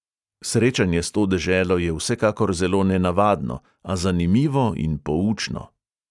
Srečanje s to deželo je vsekakor zelo nenavadno, a zanimivo in poučno.